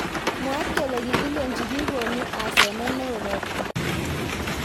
Mwaat kele kikilech bik konu asenet neo robatak.